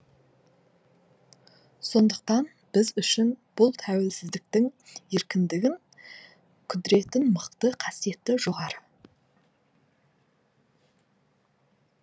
сондықтан біз үшін бұл тәуелсіздіктің еркіндігін құдіретін мықты қасиеті жоғары